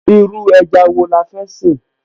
Irú ẹja wo la fẹ́ sè?